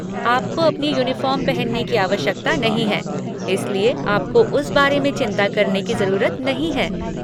आपको अपनी यूनिफ़ॉर्म पहनने की आवश्यकता नहीं है, इसलिए आपको उस बारे में चिंता करने की ज़रूरत नहीं है।